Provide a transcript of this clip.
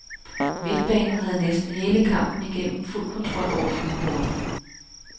Midtbanen havde næsten hele kampen igennem fuld kontrol over fynboerne.